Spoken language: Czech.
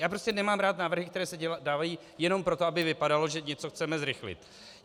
Já prostě nemám rád návrhy, které se dávají jenom proto, aby to vypadalo, že něco chceme zrychlit.